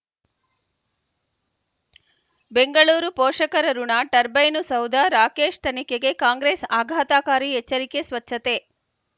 ಬೆಂಗಳೂರು ಪೋಷಕರಋಣ ಟರ್ಬೈನು ಸೌಧ ರಾಕೇಶ್ ತನಿಖೆಗೆ ಕಾಂಗ್ರೆಸ್ ಆಘಾತಕಾರಿ ಎಚ್ಚರಿಕೆ ಸ್ವಚ್ಛತೆ